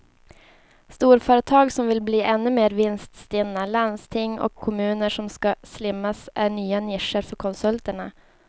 Storföretag som vill bli ännu mer vinststinna, landsting och kommuner som ska slimmas är nya nischer för konsulterna.